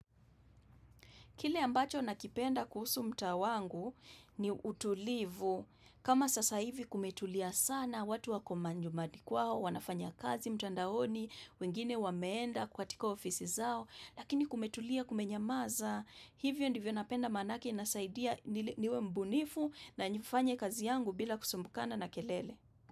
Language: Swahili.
Kile ambacho nakipenda kuhusu mtaa wangu ni utulivu kama sasa hivi kumetulia sana watu wako majumadi kwao, wanafanya kazi mtandaoni, wengine wameenda kwa tiko ofisi zao. Lakini kumetulia kumenyamaza hivyo ndivyo napenda manake nasaidia niwe mbunifu na nifanye kazi yangu bila kusumbukana na kelele.